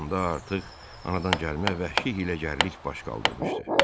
Onda artıq anadangəlmə vəhşi hiyləgərlik baş qaldırmışdı.